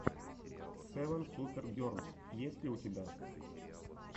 севен супер герлс есть ли у тебя